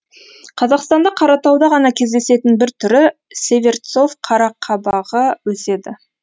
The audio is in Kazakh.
қазақстанда қаратауда ғана кездесетін бір түрі северцов қарақабығы өседі